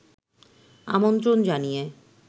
আমন্ত্রণ জানিয়ে